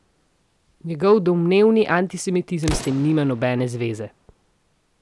Njegov domnevni antisemitizem s tem nima nobene zveze.